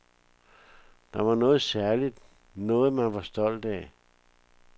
Det var noget særligt, noget man var stolt af.